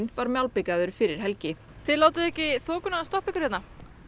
var malbikaður fyrir helgi þið látið ekki þokuna stoppa ykkur hérna